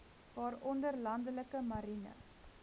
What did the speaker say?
waaronder landelike marine